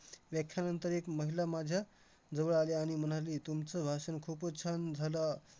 व्याख्यानंतर एक महिला माझ्या जवळ आली आणि म्हणाली, तुमचं भाषण खूपच छान झालं.